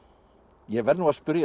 ég verð nú að spyrja þig